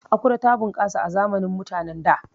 Akure ta bunƙasa a zamanin mutanen da